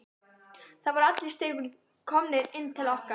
Það voru allir í stigaganginum komnir inn til okkar.